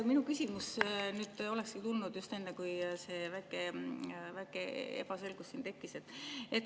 Minu küsimus olekski tulnud just enne, kui see väike ebaselgus siin tekkis.